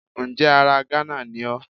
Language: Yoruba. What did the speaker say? Ǹjẹ́ ara Gánà ni ó